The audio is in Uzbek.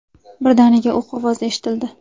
Birdaniga o‘q ovozi eshitildi.